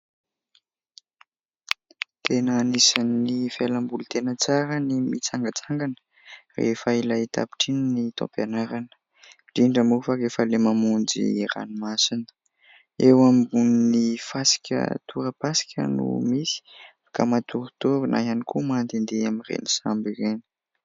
Tena anisan'ny fialamboly tena tsara ny mitsangatsangana rehefa ilay tapitra iny ny taom-pianarana indrindra moa fa rehefa ilay mamonjy ranomasina. Eo ambonin'ny fasika torapasika no misy ka matoritory na ihany koa mandendeha amin'ireny sambo ireny.